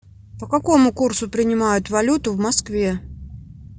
по какому курсу принимают валюту в москве